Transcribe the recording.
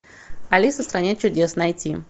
алиса в стране чудес найти